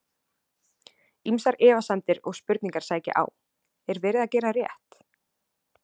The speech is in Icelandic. Ýmsar efasemdir og spurningar sækja á: Er verið að gera rétt?